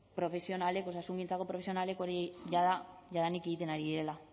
profesionalek osasungintzako profesionalek hori jada jadanik egiten ari direla